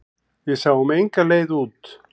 Við sáum enga leið út.